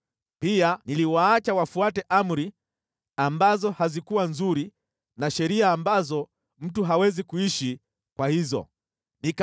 Pia niliwaacha wafuate amri ambazo hazikuwa nzuri na sheria ambazo mtu hawezi kuishi kwa hizo sheria.